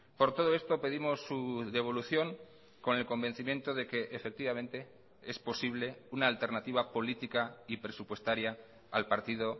por todo esto pedimos su devolución con el convencimiento de que efectivamente es posible una alternativa política y presupuestaria al partido